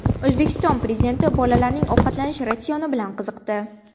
O‘zbekiston Prezidenti bolalarning ovqatlanish ratsioni bilan qiziqdi.